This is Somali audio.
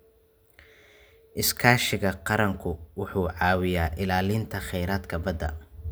Iskaashiga qaranku wuxuu caawiyaa ilaalinta kheyraadka badda.